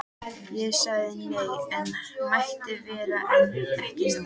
Ég sagði nei, hann mætti vera en ekki hún.